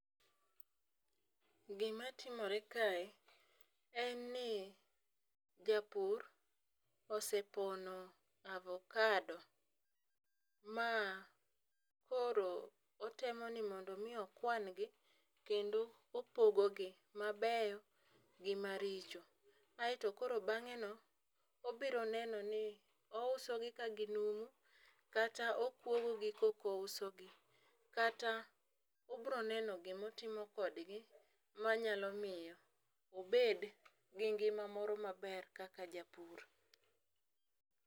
Gima timore kae en ni japur osepono avocado, ma koro otemo ni mondo omi okwan gi. Kendo opogogi, mabeyo, gi maricho. Aeto koro bangéno obiro nenoni, ouso gi ka ginumu, kata okwogogi koka ouso gi. Kata obiro neno gima otimo kodgi, manyalo miyo obed gi ngima moro maber kaka japur.